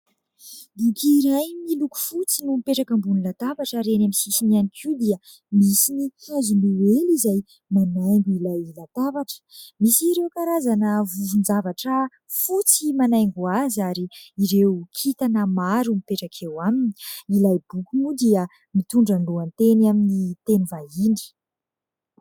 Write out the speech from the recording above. Boky iray miloko fotsy no mipetraka ambony latabatra ary eny amin'ny sisiny ihany koa dia misy ny hazo noely izay manaingo ilay latabatra. Misy ireo karazana vovon-javatra fotsy manaingo azy ary ireo kintana maro mipetraka eo aminy. Ilay boky moa dia mitondra lohateny amin'ny teny vahiny.